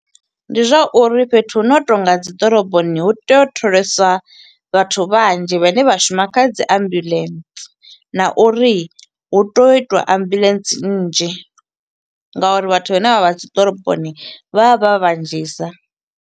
Ndi zwa uri fhethu hu no tonga ha dzi ḓoroboni hu tea u tholesa vhathu vhanzhi vhane vha shuma kha dzi ambulance, na uri hu tea u i twa ambuḽentse nnzhi. Nga uri vhathu vhane vha vha dzi ḓoroboni vha vha vhanzhisa.